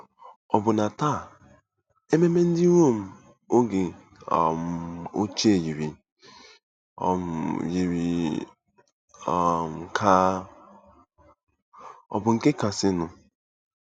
Ọbụna taa, ememe ndị Rom oge um ochie yiri um yiri um ka ọ̀ bụ nke kasịnụ.